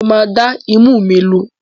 Mo máa dá imú mi lu.